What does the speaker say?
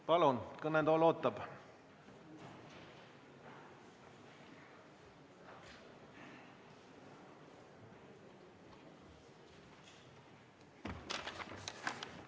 Palun, kõnetool ootab!